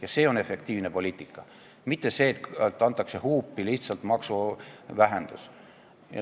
Ja see on efektiivne poliitika, mitte see, et tehakse huupi lihtsalt käibemaksu vähendus.